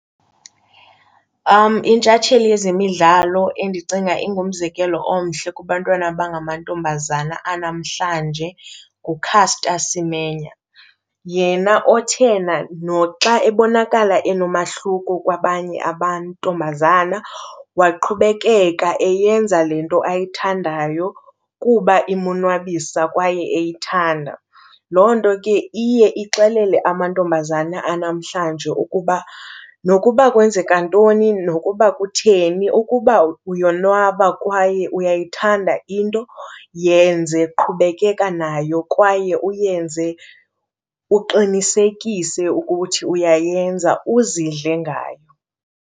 Intshatsheli yezemidlalo endicinga ingumzekelo omhle kubantwana abangamantombazana anamhlanje nguCaster Semenya yena othe noxa ebonakala enomahluko kwabanye amantombazana waqhubekeka eyenza le nto ayithandayo kuba imonwabisa kwaye eyithanda. Loo nto ke iye ixelele amantombazana anamhlanje ukuba nokuba kwenzeka ntoni nokuba kutheni, ukuba uyonwaba kwaye uyayithanda into yenze, qhubekeka nayo. Kwaye uyenze uqinisekise ukuthi uyayenza, uzidle ngayo.